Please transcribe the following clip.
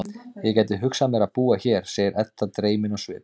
Ég gæti hugsað mér að búa hér, segir Edda dreymin á svip.